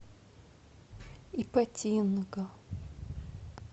ипатинга